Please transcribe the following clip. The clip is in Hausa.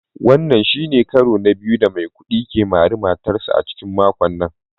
Wannan shi ne karo na biyu da Maikudi ke mari matarsa ​​a cikin makon nan